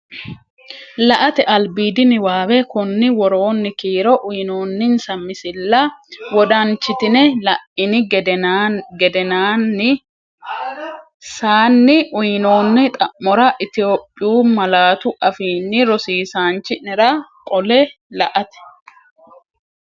La”ate albiidi niwaawe Konni woroonni kiiro uyinoonninsa misilla wodanchitine la’ini geden- saanni uyinoonni xa’mora Itophiyu malaatu afiinni rosiisaanchi’nera qolle La”ate.